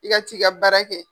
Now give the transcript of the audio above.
I ka t'i ka baara kɛ.